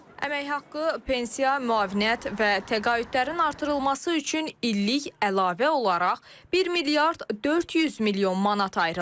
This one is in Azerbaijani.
Əmək haqqı, pensiya, müavinət və təqaüdlərin artırılması üçün illik əlavə olaraq 1 milyard 400 milyon manat ayrılıb.